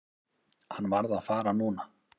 Hann varð að fara núna.